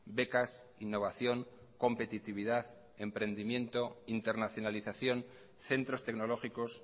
becas innovación competitividad empredimiento internacionalización centros tecnológicos